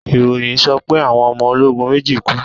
ìròyìn sọ pé Àwọn ọmọ ologun méjì kú.